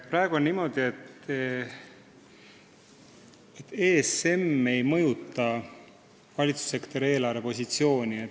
Praegu on niimoodi, et osalus ESM-is ei mõjuta valitsussektori eelarvepositsiooni.